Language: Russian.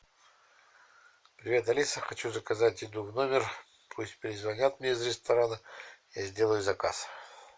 привет алиса хочу заказать еду в номер пусть перезвонят мне из ресторана я сделаю заказ